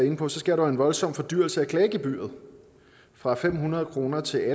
inde på sker der en voldsom fordyrelse af klagegebyret fra fem hundrede kroner til